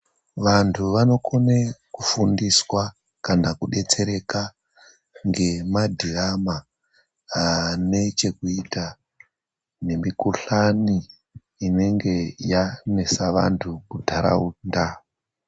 Vantu vanokone kufundiswa kana kudetsereka ngemadhiyama anechekuita nemikuhlani inenge yanesa vantu munharaunda.